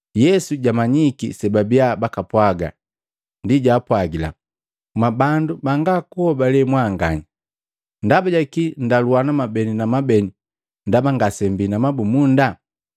Yesu jwamanyiki sebabia bakapwaga ndi jaapwagila, “Mwabandu banga kuhobale mwanganya! Ndaba jaki nndaluana mwabeni na beni ndaba ngasembii na mabumunda?